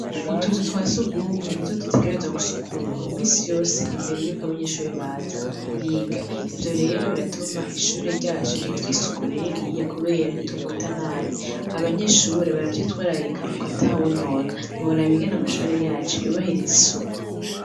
Utuzu twa si ugumwe ni to dutegereza gusukurwa misi yose imbere yuko abanyeshure baza kwiga ivyo rero biratuma ishure ryacu rigira isuku nininiya, kubera itumota nabi abanyeshure baravyitwararika mukataha wo nona nturabaingana amashure yacu yubahiriza isuku.